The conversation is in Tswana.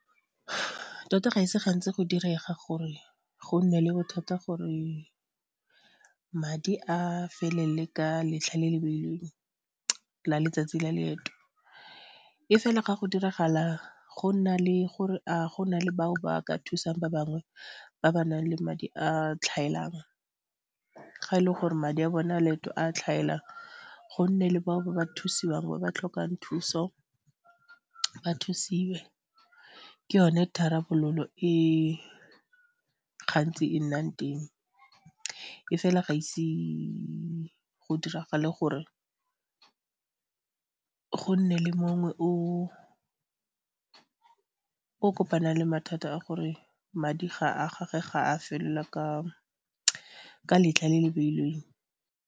Tota ga e se gantsi go direga gore go nne le bothata gore madi a felele ka letlha le le beilweng la letsatsi la leeto, e fela ga go diragala go nna le gore a go na le bao ba ka thusang ba bangwe ba ba nang le madi a tlhaelang, ga e le gore madi a bone a leeto a tlhaela go nne le bao ba ba thusiwang ba ba tlhokang thuso ba thusiwe, ke yone tharabololo e gantsi e nnang teng e fela ga ise go diragale gore go nne le mongwe o o kopana le mathata a gore madi a gagwe ga a felela ka letlha le le beilweng.